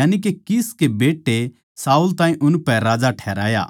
यानिके कीश के बेट्टे शाऊल ताहीं उनपै राजा ठहराया